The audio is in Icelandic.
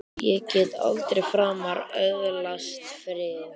Ég get aldrei framar öðlast frið!